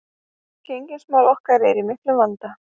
Gengismál okkar eru í miklum vanda